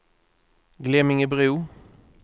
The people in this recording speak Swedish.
Glemmingebro